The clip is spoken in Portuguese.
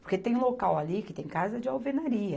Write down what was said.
Porque tem local ali que tem casa de alvenaria.